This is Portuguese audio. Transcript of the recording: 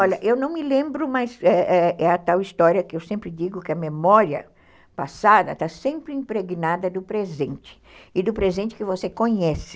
Olha, eu não me lembro, mas é é a tal história que eu sempre digo que a memória passada está sempre impregnada do presente, e do presente que você conhece.